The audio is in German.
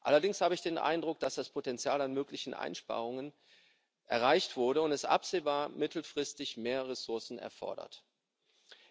Allerdings habe ich den Eindruck, dass das Potenzial an möglichen Einsparungen erreicht wurde und absehbar ist, dass mittelfristig mehr Ressourcen erforderlich sein werden.